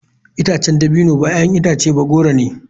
Itacen dabino ba 'ya'yan itace ba goro ne.